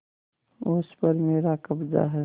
उस पर मेरा कब्जा है